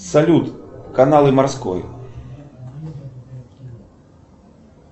салют каналы морской